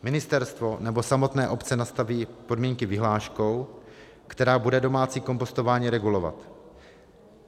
Ministerstvo nebo samotné obce nastaví podmínky vyhláškou, která bude domácí kompostování regulovat.